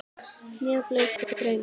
Mjög blautur draumur það.